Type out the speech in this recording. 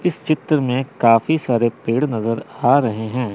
इस चित्र में काफी सारे पेड़ नजर आ रहे हैं।